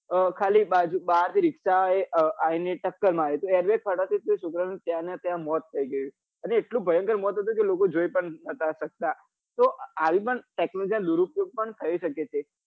ખાલી બાર થી રીક્ષા એ આવી ને ટક્કર મારી તો air bag ફાટવા થી એ છોકરા નું ત્યાં નું ત્યાં મોત થઇ ગયું અને એટલું ભયંક મોત હતું કે લોકો જોઈ પણ નતા સકતા તો આવી on technology નાં દુરુપયોગ પણ થઇ સકે છે